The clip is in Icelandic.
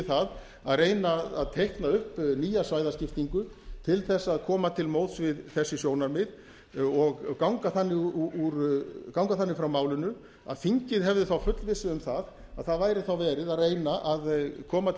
það að reyna að teikna upp nýja svæðaskiptingu til þess að koma til móts við þessi sjónarmið og ganga þannig frá málinu að þingið hefði þá fullvissu um að það væri þá verið að reyna að koma til